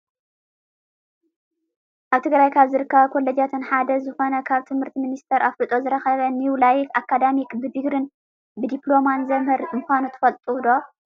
ኣብ ትግራይ ካብ ዝርከባ ኮሎጃት ሓደ ዝኮነ ካብ ትምህርቲ ሚኒስተር ኣፍልጦ ዝረከበ ኒው ላይፍ ኣካዳሚክ ብድግርን ብድፕሎማን ዘምህር ምኳኑ ትፈልጡ ዶ?